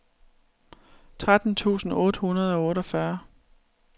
tretten tusind otte hundrede og otteogfyrre